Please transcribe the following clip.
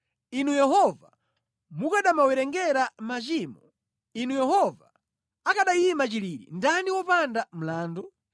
Inu Yehova, mukanamawerengera machimo, Inu Yehova, akanayima chilili ndani wopanda mlandu?